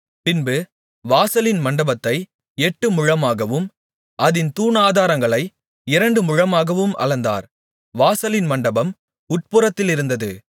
பின்பு வாசலின் மண்டபத்தை எட்டுமுழமாகவும் அதின் தூணாதாரங்களை இரண்டு முழமாகவும் அளந்தார் வாசலின் மண்டபம் உட்புறத்திலிருந்தது